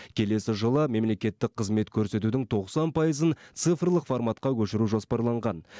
келесі жылы мемлекеттік қызмет көрсетудің тоқсан пайызын цифрлық форматқа көшіру жоспарланған